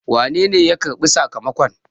wanene ya karɓi sakamakon?